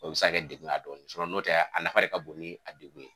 O be se kɛ degu ye a dɔw ma sinɔn anafa de ka bon la tɛmɛ dugu kan